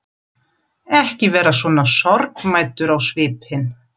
Ekki vera svona sorgmæddur á svipinn.